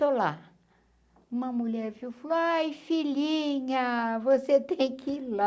Estou lá, uma mulher viu, falou ai filhinha, você tem que ir lá.